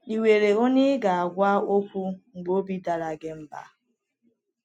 Ì nwere onye ị ga - agwa okwu mgbe obi dara gị mba?